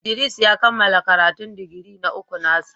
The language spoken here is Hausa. Idris ya kammala karatun digiri na uku na sa.